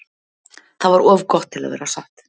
Það var of gott til að vera satt.